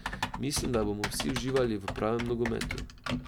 Mislim, da bomo vsi uživali v pravem nogometu.